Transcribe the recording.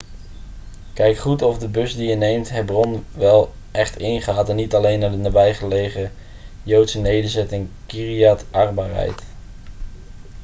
kijk goed of de bus die je neemt hebron wel echt ingaat en niet alleen naar de nabijgelegen joodse nederzetting kiryat arba rijdt